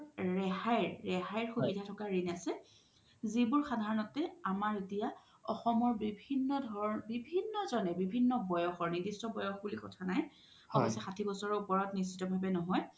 ৰেহাইৰ, ৰেহাইৰ সুবিধা থকা ৰিন আছে যিবোৰ সাধাৰণতে আমাৰ এতিয়া অসমৰ বিভিন্ন ধৰণৰ বিভিন্ন জ্নে বিভিন্ন বয়সৰ নিৰ্দিস্ত বয়স বুলি কথা নাই অৱশ্যই সাথি বছৰৰ ওপৰত নিশিথ ভাবে নহয়